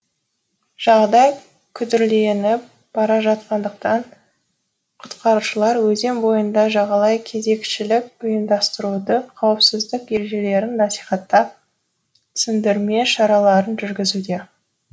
жағдай күрделеніп бара жатқандықтан құтқарушылар өзен бойына жағалай кезекшілік ұйымдастыруда қауіпсіздік ережелерін насихаттап түсіндірме шараларын жүргізуде